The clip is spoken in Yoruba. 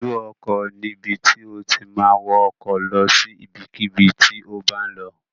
Ibùdó ọkọ̀ ni ibi tí o ti ma wọ ọkọ̀ lọ sí ibikíbi tí o bá ń lọ